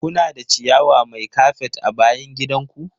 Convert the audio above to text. Kuna da ciyawa mai kafet a bayan gidan ku?